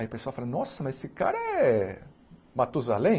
Aí o pessoal fala, nossa, mas esse cara é Matusalem?